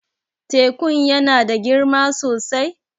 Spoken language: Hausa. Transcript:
Tekun ya na da girma sosai?